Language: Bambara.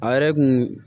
A yɛrɛ kun